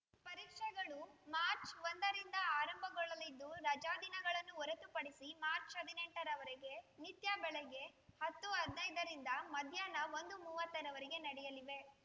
ಪರೀಕ್ಷೆಗಳು ಮಾರ್ಚ್ ಒಂದರಿಂದ ಆರಂಭಗೊಳ್ಳಲಿದ್ದು ರಜಾ ದಿನಗಳನ್ನು ಹೊರತುಪಡಿಸಿ ಮಾರ್ಚ್ ಹದಿನೆಂಟ ರವರೆಗೆ ನಿತ್ಯ ಬೆಳಗ್ಗೆ ಹತ್ತು ಹದಿನೈದರಿಂದ ಮಧ್ಯಾಹ್ನ ಒಂದು ಮೂವತ್ತರವರೆಗೆ ನಡೆಯಲಿವೆ